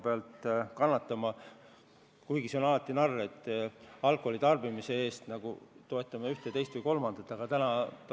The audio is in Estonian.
Tegelikult on see narr, et alkoholi tarbimise hinnaga me toetame ühte, teist või kolmandat vajalikku tegevust.